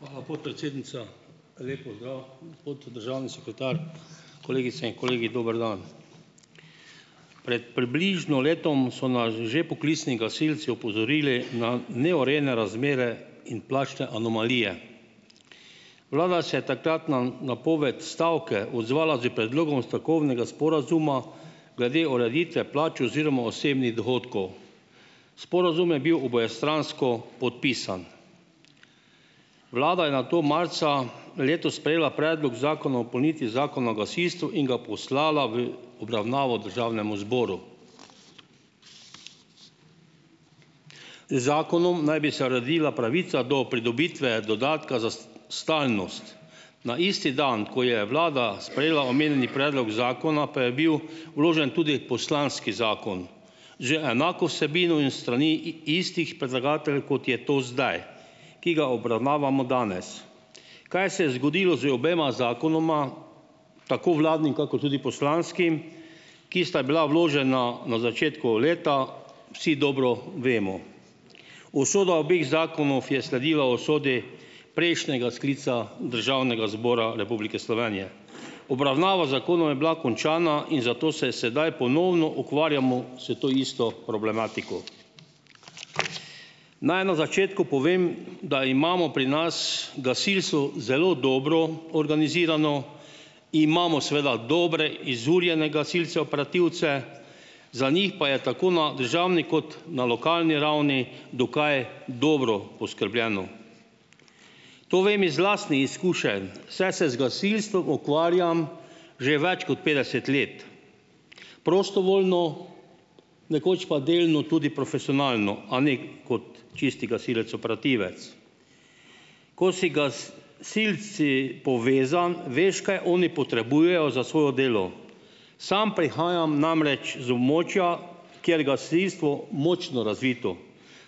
Hvala, podpredsednica! Lep pozdrav, gospod državni sekretar! Kolegice in kolegi, dober dan! Pred približno letom so nas že poklicni gasilci opozorili na neurejene razmere in plačne anomalije. Vlada se je takrat na napoved stavke odzvala s predlogom strokovnega sporazuma glede ureditve plač oziroma osebnih dohodkov. Sporazum je bil obojestransko podpisan. Vlada je nato marca letos sprejela predlog zakona o dopolnitvi zakona o gasilstvu in ga poslala v obravnavo državnemu zboru. Z zakonom naj bi se uredila pravica do pridobitve dodatka za stalnost. Na isti dan, ko je vlada sprejela omenjeni predlog zakona, pa je bil vložen tudi poslanski zakon z enako vsebino in s strani istih predlagateljev, kot je to zdaj, ki ga obravnavamo danes. Kaj se je zgodilo z obema zakonoma, tako vladnim kakor tudi poslanskim, ki sta bila vložena na začetku leta, vsi dobro vemo. Usoda obeh zakonov je sledila usodi prejšnjega sklica Državnega zbora Republike Slovenije. Obravnava zakonov je bila končana in zato se sedaj ponovno ukvarjamo s to isto problematiko. Naj na začetku povem, da imamo pri nas gasilstvo zelo dobro organizirano. Imamo seveda dobre, izurjene gasilce operativce, za njih pa je tako na državni kot na lokalni ravni dokaj dobro poskrbljeno. To vem iz lastnih izkušenj, saj se z gasilstvom ukvarjam že več kot petdeset let prostovoljno, nekoč pa delno tudi profesionalno, a ne kot čisti gasilec operativec. Ko si silci povezan, veš, kaj oni potrebujejo za svoje delo. Sam prihajam namreč z območja, kjer gasilstvo močno razvito.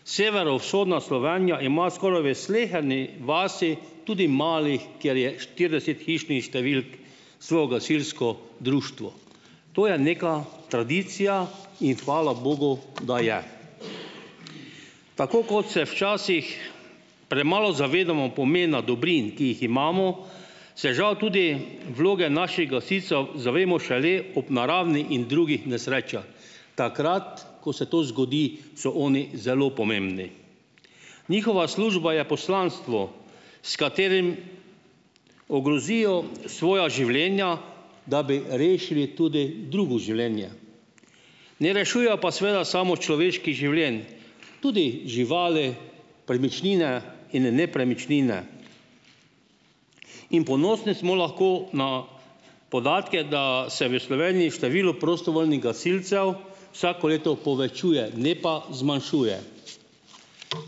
Severovzhodna Slovenija ima skoraj v sleherni vasi, tudi mali, kjer je štirideset hišnih številk svoje gasilsko društvo. To je neka tradicija in hvala bogu, da je. Tako kot se včasih premalo zavedamo pomena dobrin, ki jih imamo, se žal tudi vloge naših gasilcev zavemo šele ob naravnih in drugih nesrečah, takrat, ko se to zgodi, so oni zelo pomembni. Njihova služba je poslanstvo, s katerim ogrozijo svoja življenja, da bi rešili tudi drugo življenje. Ne rešujejo pa seveda samo človeških življenj, tudi živali, premičnine in nepremičnine in ponosni smo lahko na podatke, da se v Sloveniji število prostovoljnih gasilcev vsako leto povečuje, ne pa zmanjšuje.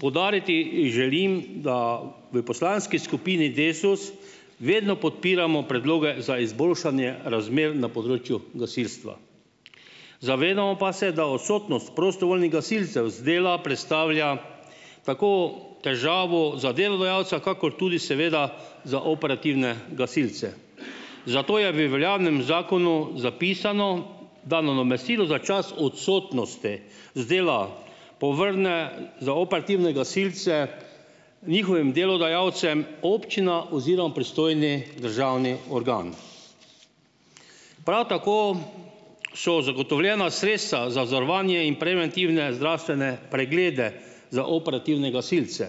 Poudariti, želim, da v poslanski skupini Desus vedno podpiramo predloge za izboljšanje razmer na področju gasilstva. Zavedamo pa se, da odsotnost prostovoljnih gasilcev z dela predstavlja tako težavo za delodajalca kakor tudi seveda za operativne gasilce. Zato je v veljavnem zakonu zapisano, da nadomestilo za čas odsotnosti z dela povrne za operativne gasilce njihovim delodajalcem občina oziroma pristojni državni organ. Prav tako so zagotovljena sredstva za zavarovanje in preventivne zdravstvene preglede za operativne gasilce.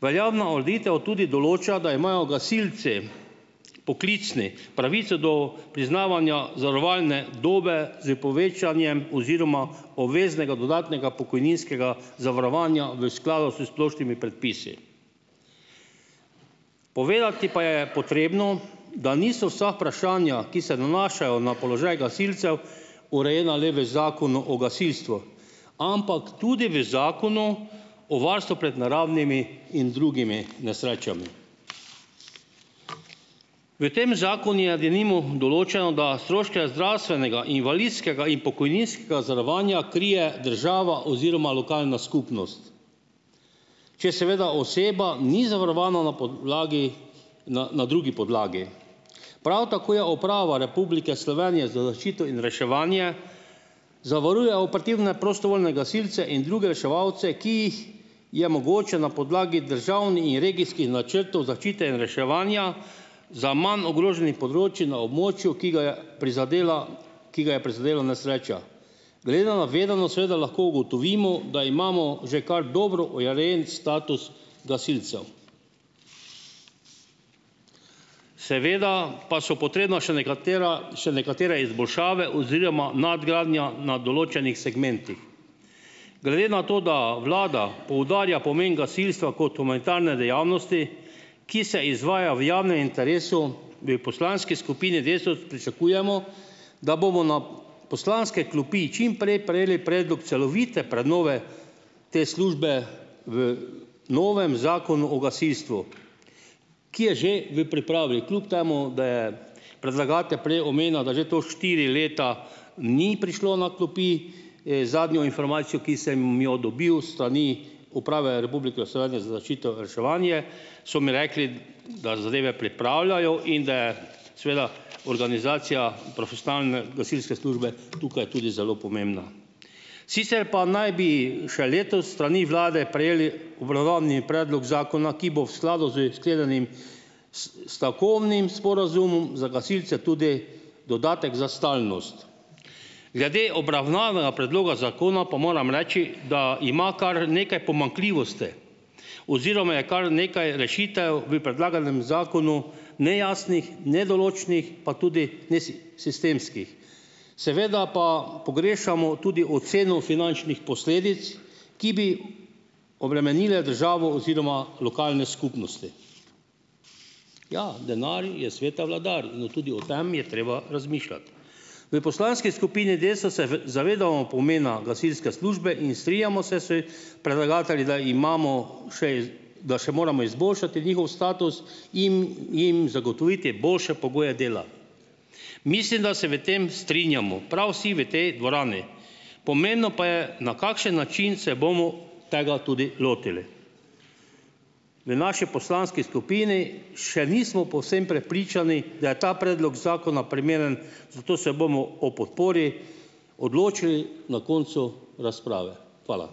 Veljavna ureditev tudi določa, da imajo gasilci, poklicni, pravico do priznavanja zavarovalne dobe s povečanjem oziroma obveznega dodatnega pokojninskega zavarovanja v skladu s splošnimi predpisi. Povedati pa je potrebno, da niso vsa vprašanja, ki se nanašajo na položaj gasilcev, urejena le v zakonu o gasilstvu, ampak tudi v zakonu o varstvu pred naravnimi in drugimi nesrečami. V tem zakon je denimo določeno, da stroške zdravstvenega, invalidskega in pokojninskega zavarovanja krije država oziroma lokalna skupnost, če seveda oseba ni zavarovana na podlagi, na, na drugi podlagi. Prav tako je Uprava Republike Slovenije za zaščito in reševanje zavaruje operativne prostovoljne gasilci in druge reševalce, ki jih je mogoče na podlagi in regijskih načrtov zaščite in reševanja za manj ogroženih področij na območju, ki ga je prizadela, ki ga je prizadela nesreča. Glede na navedeno seveda lahko ugotovimo, da imamo že kar dobro urejen status gasilcev. Seveda pa so potrebna še nekatera, še nekatere izboljšave oziroma nadgradnja na določenih segmentih. Glede na to, da vlada poudarja pomen gasilstva kot humanitarne dejavnosti, ki se izvaja v javnem interesu, v poslanski skupini Desus pričakujemo, da bomo na poslanske klopi čim prej prejeli predlog celovite prenove te službe v novem zakonu o gasilstvu, ki je že v pripravi, kljub temu da je predlagatelj prej omenil, da že to štiri leta ni prišlo na klopi, zadnjo informacijo, ki sem, jo dobil s strani Uprave Republike Slovenije za zaščito in reševanje, so mi rekli, da zadeve pripravljajo in da je, seveda, organizacija profesionalne gasilske službe tukaj tudi zelo pomembna. Sicer pa naj bi še letos s strani vlade prejeli obravnavani predlog zakona, ki bo v skladu s sklenjenim stavkovnim sporazumom za gasilce tudi dodatek za stalnost. Glede obravnavana predloga zakona pa moram reči, da ima kar nekaj pomanjkljivosti oziroma je kar nekaj rešitev v predlaganem zakonu nejasnih, nedoločnih pa tudi sistemskih. Seveda pa pogrešamo tudi oceno finančnih posledic, ki bi obremenile državo oziroma lokalne skupnosti. Ja, denar je sveta vladar in tudi o tem je treba razmišljati. V poslanski skupini Desus se zavedamo pomena gasilske službe in strinjamo se s predlagatelji, da imamo še da še moramo izboljšati njihov status, jim, jim zagotoviti boljše pogoje dela. Mislim, da se v tem strinjamo prav vsi v tej dvorani. Pomembno pa je, na kakšen način se bomo tega tudi lotili. V naši poslanski skupini še nismo povsem prepričani, da je ta predlog zakona primeren, zato se bomo o podpori odločili na koncu razprave. Hvala.